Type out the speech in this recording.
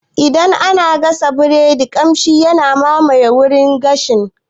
Idan ana gashin biredi kamshi yakan mamayi wurin gashin